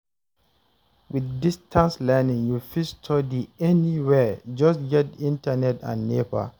With distance learning, you fit study anywhere; just get internet and Nepa.